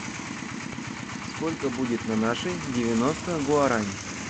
сколько будет на наши девяносто гуарани